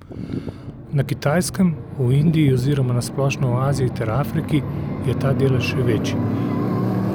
Na Kitajskem, v Indiji oziroma na splošno v Aziji ter Afriki je ta delež še večji.